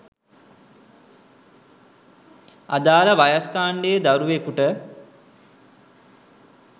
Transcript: අදාළ වයස්‌ කාණ්‌ඩයේ දරුවෙකුට